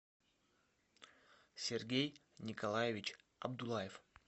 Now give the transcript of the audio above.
сергей николаевич абдулаев